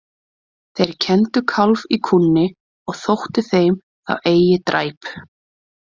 Þeir kenndu kálf í kúnni og þótti þeim þá eigi dræp.